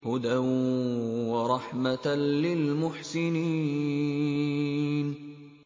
هُدًى وَرَحْمَةً لِّلْمُحْسِنِينَ